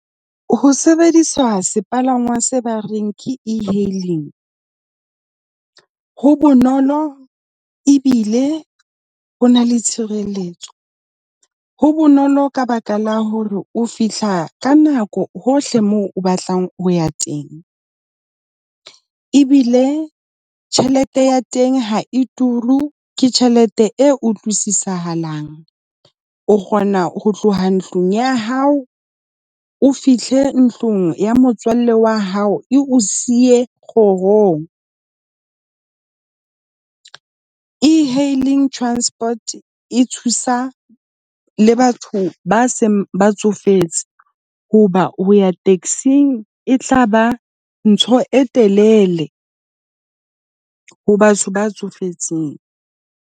Ho sebedisa sepalangwa se ba reng ke ehailing. Ho bonolo ebile ho na le tshireletso. Ho bonolo ka baka la hore o fihla ka nako hohle moo o batlang ho ya teng, ebile tjhelete ya teng ha e turu. Ke tjhelete e utlwisisahalng, o kgona ho tloha ntlong ya hao, o fihle ntlong ya motswalle wa hao e o siye kgohong . Ehailing transport e thusa le batho ba seng ba tsofetse hoba ho ya taxing e tlaba ntho e telele ho batho ba tsofetseng.